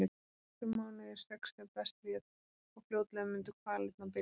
Nokkrir mánuðir, sex ef best lét, og fljótlega mundu kvalirnar byrja.